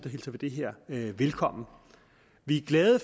hilser vi det her velkommen vi er glade